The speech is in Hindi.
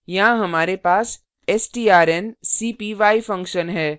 यहाँ हमारे पास strncpy function है